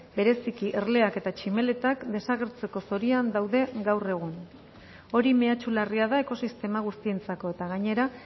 bereziki erleak eta tximeletak desagertzeko zorian daude gaur egun hori mehatxu larria da ekosistema guztientzako eta gainera